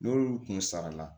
N'olu kun sara la